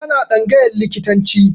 Tana tsangayan likitanci